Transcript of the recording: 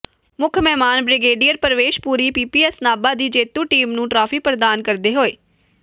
ਮੁੱਖ ਮਹਿਮਾਨ brigadier Pravesh Puri PPS Nabha ਦੀ ਜੇਤੂ ਟੀਮ ਨੂੰ ਟ੍ਰਾਫੀ ਪ੍ਰਦਾਨ ਕਰਦੇ ਹੋਏ